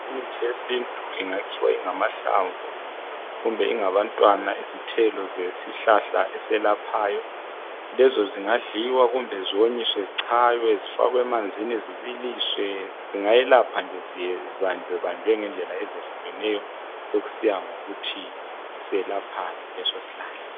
Imithi yesintu ingakhiwa ingamahlamvu kumbe ingabantwana izithelo zesihlahla eselaphayo lezonzingadliwa kumbe zonyiswe zichaywe zifakwe emanzini zibiliswe zingayelapha zibanjwebanjwe ngendlela ezehlikeneyo sokusiya ngokuthi selaphani leso sihlahla.